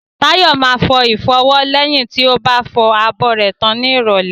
Tayo máa fọ ìfọwọ́ lẹ́yìn tí ó bá ti fọ abọ́ tán ní ìrólẹ́